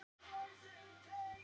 """Nei, væni minn."""